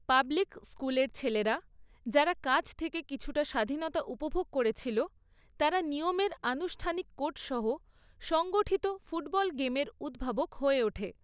Public স্কুলের ছেলেরা, যারা কাজ থেকে কিছুটা স্বাধীনতা উপভোগ করেছিল, তারা নিয়মের আনুষ্ঠানিক কোড সহ সংগঠিত ফুটবল গেমের উদ্ভাবক হয়ে ওঠে।